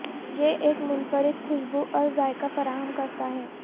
یہ ایک منفرد کھشبو اور ذائقہ فراہم کرتا ہے